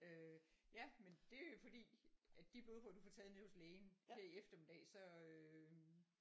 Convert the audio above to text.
øh ja! Men det er jo fordi at de blodprøver du får taget nede hos lægen her i eftermiddag så øhm